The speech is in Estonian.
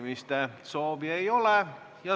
Kõnesoove ei ole.